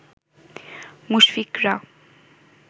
মুশফিকরা